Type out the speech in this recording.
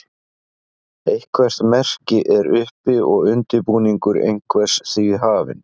eitthvert merki er uppi og undirbúningur einhvers því hafinn